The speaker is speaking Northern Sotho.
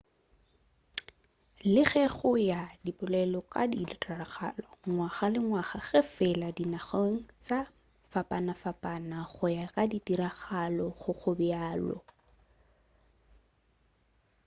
le ge go ya ka polelo di ka diragala ngwaga ka ngwaga ge fela e le dinageng tša go fapanafapana go ya ka ditiragalo ga go bjalo